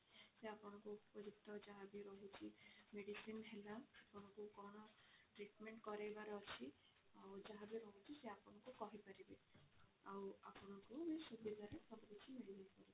ଏଥିରେ ଆପଣଙ୍କ ଉପଯୁକ୍ତ ଯାହା ବି ରହୁଛି medicine ହେଲା ତମକୁ କଣ treatment କରେଇବାର ଅଛି ଆଉ ଯାହା ବି ରହୁଛି ସେ ଆପଣଙ୍କୁ କହି ପାରିବେ ଆଉ ଆପଣଙ୍କୁ ବି ସୁବିଧା ରେ ସବୁ କିଛି ମିଳିଯିବ।